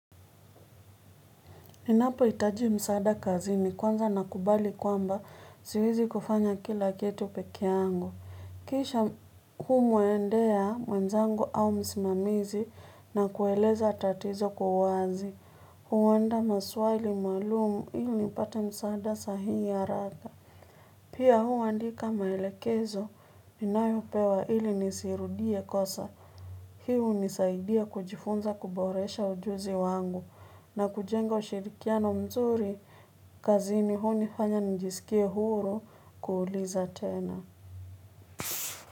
Ninapohitaji msaada kazini kwanza nakubali kwamba siwezi kufanya kila kitu pekee yangu. Kisha humwendea mwenzangu au msimamizi na kueleza tatizo kwa uwazi. Huandaa maswali maalumu ili nipate msaada sahihi haraka. Pia huandika maelekezo ninayopewa ili nisirudie kosa. Hii hunisaidia kujifunza kuboresha ujuzi wangu na kujenga ushirikiano mzuri kazini hunifanya njisikie huru kuuliza tena.